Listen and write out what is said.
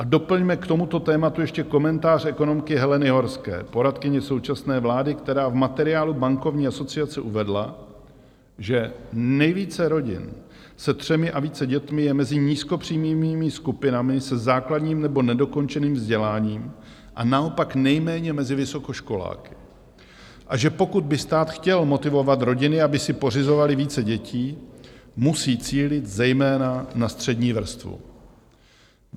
A doplňme k tomuto tématu ještě komentář ekonomky Heleny Horské, poradkyně současné vlády, která v materiálu bankovní asociace uvedla, že nejvíce rodin se třemi a více dětmi je mezi nízkopříjmovými skupinami se základním nebo nedokončeným vzděláním a naopak nejméně mezi vysokoškoláky, a že pokud by stát chtěl motivovat rodiny, aby si pořizovaly více dětí, musí cílit zejména na střední vrstvu.